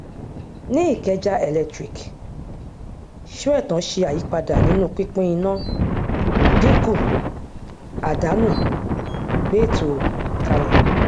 ní ikeja electric sóẹtàn ṣe àyípadà nínú pínpín iná dínkù àdánù gbé ètò kalẹ